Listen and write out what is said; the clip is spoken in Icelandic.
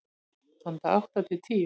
Handa átta til tíu